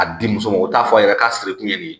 A di muso ma u t'a fɔ a yɛrɛ k'a siri kun ye nin ye